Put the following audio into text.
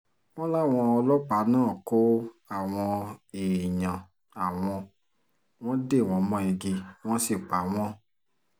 wọ́n láwọn ọlọ́pàá náà kó àwọn èèyàn àwọn wọn dè wọ́n mọ́ igi wọ́n sì pa wọ́n